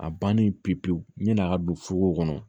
A bannen pewu pewu yan'a ka don fogo kɔnɔ